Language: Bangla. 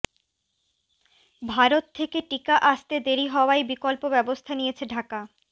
ভারত থেকে টিকা আসতে দেরি হওয়ায় বিকল্প ব্যবস্থা নিয়েছে ঢাকা